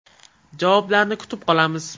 Javoblarni kutib qolamiz.